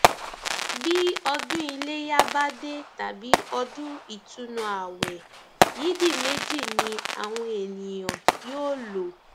bí ọdún iléyà bá dé tàbí ọdún ìtùnúààwẹ yídì méjì ni àwọn èèyàn yóò lò